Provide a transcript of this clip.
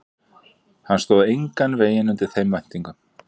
Hann stóð engan veginn undir þeim væntingum.